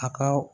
A ka